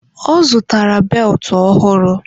Ọ zụtara beltụ ọhụrụ